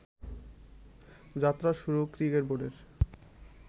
যাত্রা শুরু ক্রিকেট বোর্ডের